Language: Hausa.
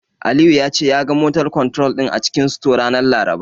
Aliyu ya ce, ya ga "motor control" din a cikin store, ranar Laraba.